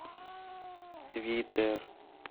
твиттер